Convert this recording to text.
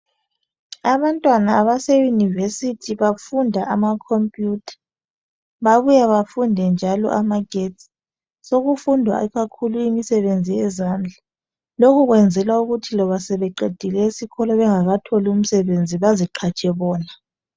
Abantwana abase university bafunda ama computer , babuye bafunde njalo amagetsi , sokufundwa ikakhulu imisebenzi yezandla , lokhu kwenzelwa ukuthi loba sebeqedile isikolo bengakatholi umsebenzi baziqhatshe bona